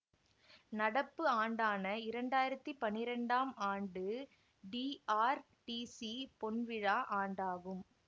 நடப்பு ஆண்டான இரண்டாயிரத்தி பன்னிரெண்டாம் ஆண்டு டிஆர்டிசி பொன்விழா ஆண்டாகும்